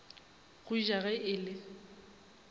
go ja ge e le